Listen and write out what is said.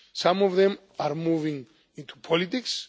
Some of them are moving into politics.